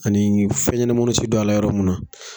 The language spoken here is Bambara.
Ani fɛn ɲɛnɛma dɔ tɛ don ala yɔrɔ munna.